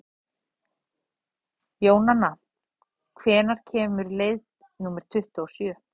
Jónanna, hvenær kemur leið númer tuttugu og sjö?